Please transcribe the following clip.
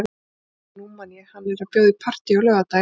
Heyrðu, nú man ég. hann er að bjóða í partí á laugardaginn.